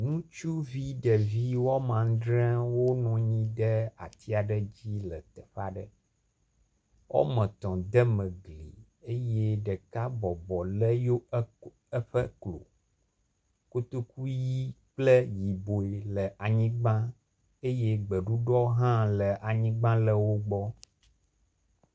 Ŋutsuvi ɖevi woame andre wonɔ anyi ɖe ati aɖe dzi lle teƒea ɖe. Wɔme tɔ̃ deme gli eye ɖeka bɔbɔ lé yewo ekk eƒe klo. Kotoku ʋi kple yibɔe le anyigba eye gbeɖuɖɔ hã le anyigba le wo gbɔ.